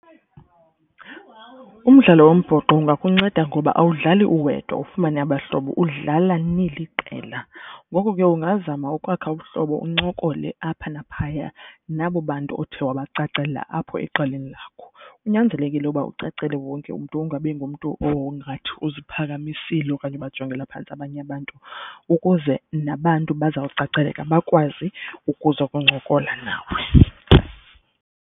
Umdlalo wombhoxo ungakunceda ngoba awudlali uwedwa ufumane abahlobo udlala niliqela. Ngoko ke ungazama ukwakha ubuhlobo uncokole apha naphaya nabo bantu othe wabacacela apho eqeleni lakho. Kunyanzelekile uba ucacele wonke umntu ungabi ngumntu ongathi uziphakamisile okanye ubajongela phantsi abanye abantu ukuze nabantu bazawucaceleka bakwazi ukuzokuncokola nawe.